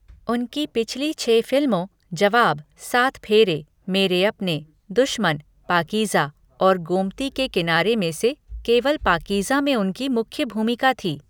उनकी पिछली छह फिल्मों जवाब, सात फेरे, मेरे अपने, दुश्मन, पाकीज़ा और गोमती के किनारे में से केवल पाकीज़ा में उनकी मुख्य भूमिका थी।